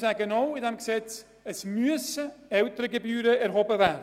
Zudem müssen Elterngebühren erhoben werden.